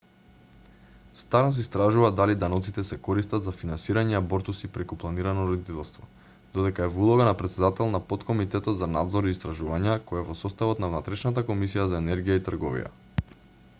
старнс истражува дали даноците се користат за финансирање абортуси преку планирано родителство додека е во улога на претседател на поткомитетот за надзор и истражувања кој е во составот на внатрешната комисија за енергија и трговија